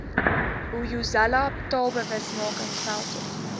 hoyozela taalbewusmaking veldtog